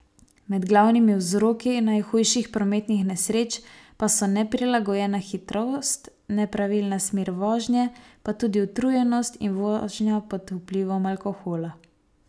Med glavnimi vzroki najhujših prometnih nesreč pa so neprilagojena hitrost, nepravilna smer vožnje, pa tudi utrujenost in vožnja pod vplivom alkohola.